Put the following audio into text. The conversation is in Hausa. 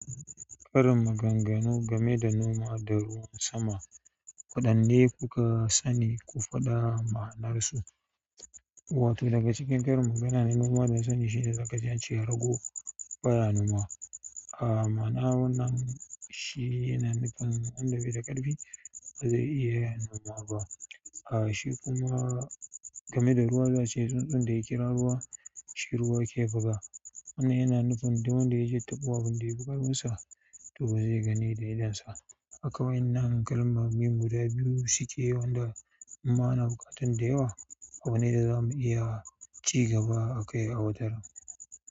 Karin maganganu game da noma da ruwan sama. Waɗanne kuka sani? Ku faɗa ma'anarsu. Wato daga cikin karin magana na noma dana sani shine zakaji ance rago baya noma, ma'anan wannan shi yana nufin wanda baida ƙarbi bazai iya yin noma ba a shi kuma game da ruwa za'ace "Tsuntsun da ya kira ruwa, shi ruwa ke buga", wannan yana nufin du wanda ya je taɓo abin da ya fi ƙarfinsa, to ba zai gani da idonsa ba. Kai wa'ennan kalmomi guda biyu suke yawan da ma'ana buƙatan da yawa. Abu ne da zamu iya ci gaba akai a wataran.